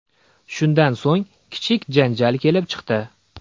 Shundan so‘ng, kichik janjal kelib chiqdi.